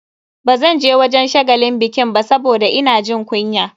Bazanje wajen shagalin bikin ba saboda ina jin kunya.